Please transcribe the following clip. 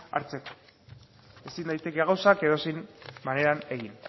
hartzeko ezin daiteke gauzak edozein maneran egin